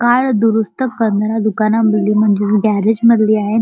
Car दुरुस्त करणाऱ्या दुकाना मध्ये म्हणजेच गॅरेज मधले आहे.